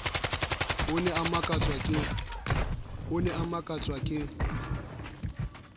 o ne a makatswa ke